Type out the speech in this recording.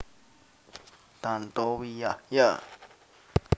Tantowi Yahya